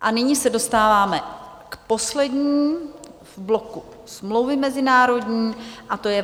A nyní se dostáváme k poslední v bloku Smlouvy mezinárodní, a to je